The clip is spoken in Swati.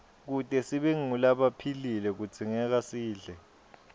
kute sibe ngulabaphilile kudzingekasidle